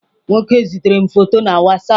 Nwoke zitere m foto na WhatsApp.